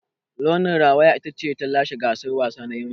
Launi rawaya ita ta lashe gasar wasa na Himma.